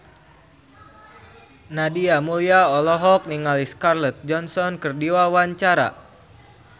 Nadia Mulya olohok ningali Scarlett Johansson keur diwawancara